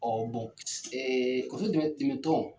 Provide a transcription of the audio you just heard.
kɔso dɛmɛ dɛmɛ tɔn.